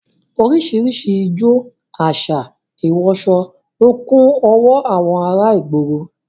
Orísìírísìí ijó, àṣà, ìwọsọ lọ kún ọwọ́ àwọn ará ìgboro